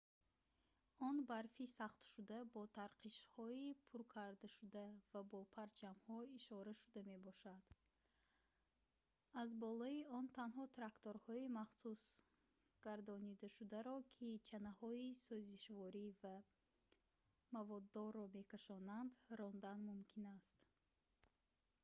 он барфи сахтшуда бо тарқишҳои пуркардашуда ва бо парчамҳо ишорашуда мебошад аз болои он танҳо тракторҳои махсусгардонидашударо ки чанаҳои сӯзишворӣ ва маводдорро мекашонанд рондан мумкин аст